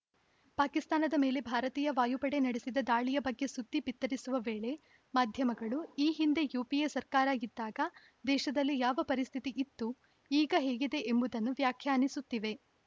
ಪಾಕಿಸ್ತಾನದ ಮೇಲೆ ಭಾರತೀಯ ವಾಯುಪಡೆ ನಡೆಸಿದ ದಾಳಿಯ ಬಗ್ಗೆ ಸುದ್ದಿ ಬಿತ್ತರಿಸುವ ವೇಳೆ ಮಾಧ್ಯಮಗಳು ಈ ಹಿಂದೆ ಯುಪಿಎ ಸರ್ಕಾರ ಇದ್ದಾಗ ದೇಶದಲ್ಲಿ ಯಾವ ಪರಿಸ್ಥಿತಿ ಇತ್ತು ಈಗ ಹೇಗಿದೆ ಎಂಬುದನ್ನು ವ್ಯಾಖ್ಯಾನಿಸುತ್ತಿವೆ